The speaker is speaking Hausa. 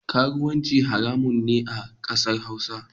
Karuwanci haramun ne a kasar hausa.